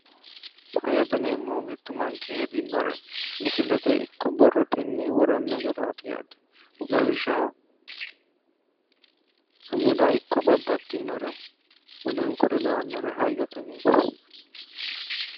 HAyyote yinneemmohu mitu manchi hedinore misilete ikko borrotenni worano garaati yaate, lawishshaho sumuda ikko babbaxinore woleno kuri lawanore hayyote yinneemmo.